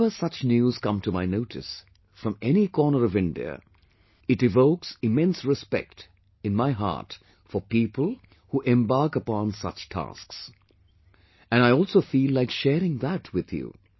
Whenever such news come to my notice, from any corner of India, it evokes immense respect in my heart for people who embark upon such tasks...and I also feel like sharing that with you